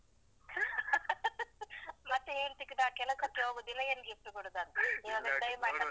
. ಮತ್ತೇ ಹೇಳ್ತಿ ನಾನ್ ಕೆಲಸಕ್ಕೆ ಹೋಗುದಿಲ್ಲ ಏನ್ gift ಕೊಡುದು ಅಂತ. ಈವಾಗ diamond necklace ಅಂತೇ.